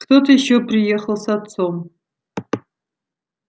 кто-то ещё приехал с отцом